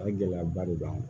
A gɛlɛyaba de b'an kan